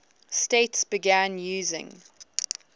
states began using